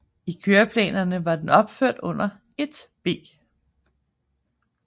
I køreplanerne var den opført under 1B